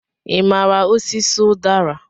Ị maara osisi udara?